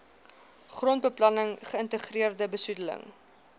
grondbeplanning geïntegreerde besoedeling